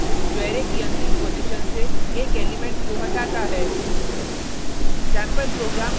और pop function जो array की अंतिम पॉजिशन से एक एलिमेंट को हटाता है